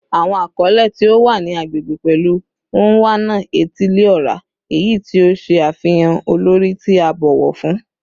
Awọn akọle ti o wa ni agbegbe pẹlu "Onwa-na-etili-ora," eyi ti o ṣe afihan olori ti a bọwọ fun